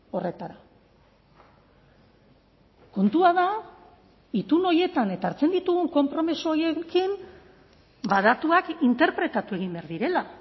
horretara kontua da itun horietan eta hartzen ditugun konpromiso horiekin datuak interpretatu egin behar direla